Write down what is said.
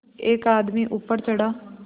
एक आदमी ऊपर चढ़ा